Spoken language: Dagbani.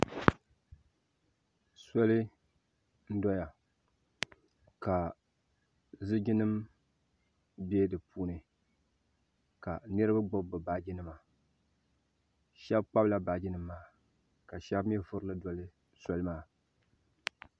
Soli n dɔya ka ziliji nim bɛ di puuni ka niriba gbubi bi baaji nima shɛba kpabi la baaji nim maa ka shɛba mi vuri li doli soli maa.